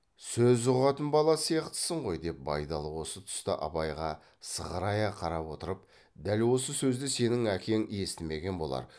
сөз ұғатын бала сияқтысын ғой деп байдалы осы тұста абайға сығырая қарап отырып дәл осы сөзді сенің әкең естімеген болар